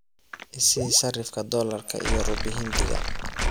i sii sarifka doolarka iyo rubi hindiga